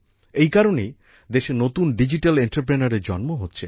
এই কারণেই দেশে নতুন ডিজিটাল এন্টারপ্রেনিউর এর জন্ম হচ্ছে